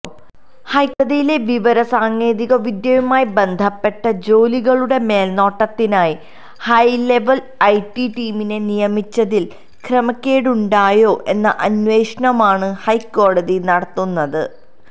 ഹൈക്കോടതിയിലെ വിവരസാങ്കേതികവിദ്യയുമായി ബന്ധപ്പെട്ട ജോലികളുടെ മേൽനോട്ടത്തിനായി ഹൈലെവൽ ഐടി ടീമിനെ നിയമിച്ചതിൽ ക്രമക്കേടുണ്ടായോ എന്ന അന്വേഷണമാണ് ഹൈക്കോടതി നടത്തുന്നത്